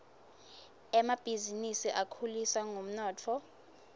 emabhisinisi akhuliswa ngumnotfo